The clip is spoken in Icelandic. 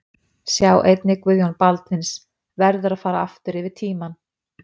Sjá einnig: Guðjón Baldvins: Verður að fara aftur yfir tímann!